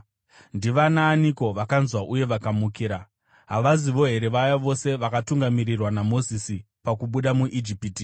Ndivanaaniko vakanzwa uye vakamukira? Havazivo here vaya vose vakatungamirirwa naMozisi pakubuda muIjipiti?